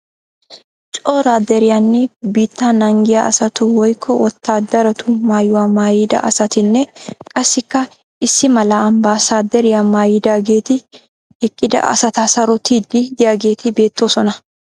Cora deriyanne biittaa naagiyaa asatu woykko wotaadaratu maayuwa maayida asatinne qassikka issi mala ambasaderiyaa maayidaageeti eqqida asata sarottiiddi diyaageeti beettoosona.